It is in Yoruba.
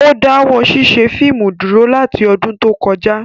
Ó dáwọ́ ṣíṣe fíìmù dúró láti ọdún tó kọjá